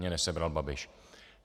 Mě nesebral Babiš.